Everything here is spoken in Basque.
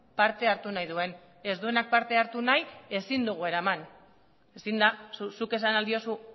parte hartu nahi duen ez duenak parte hartu nahi ezin dugu eraman ezin da zuk esan ahal diozu